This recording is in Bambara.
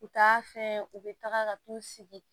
U taa fɛn u bɛ taga ka t'u sigi